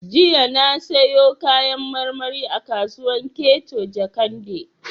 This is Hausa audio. Jiya na sayo Kayan marmari a kasuwar Keto Jakande